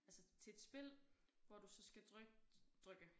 Altså til et spil hvor du så skal tryk trykke